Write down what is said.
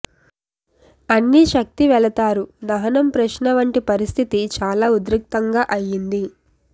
అన్ని శక్తి వెళతారు దహనం ప్రశ్న వంటి పరిస్థితి చాలా ఉద్రిక్తంగా అయ్యింది